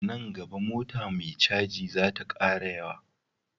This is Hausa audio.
Nan gaba mota me caji zata kara yawa